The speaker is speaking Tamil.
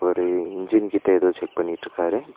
வரு இன்ஜின் கிட்ட ஏதோ செக் பண்ணிட்ருக்காரு.